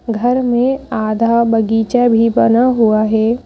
घर में आधा बगीचा भी बना हुआ है।